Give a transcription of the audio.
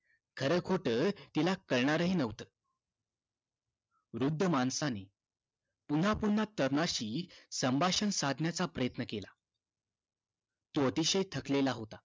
खर खोट तिला कळणार हि न्हवत वृद्ध माणसाने पुन्हा पुन्हा तरुणाशी संभाषण साधण्याचा प्रयत्न केला तो अतिशय थकलेला होता